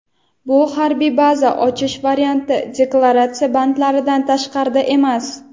Bu [harbiy baza ochish varianti] deklaratsiya bandlaridan tashqarida emas.